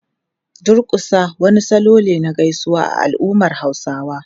Durƙusa wani salo ne na gaisuwa a al’ummar Hausawa.